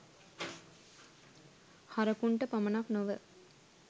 හරකුන්ට පමණක් නොව